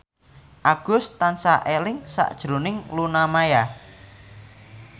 Agus tansah eling sakjroning Luna Maya